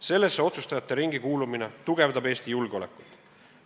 Sellesse otsustajate ringi kuulumine tugevdab Eesti julgeolekut.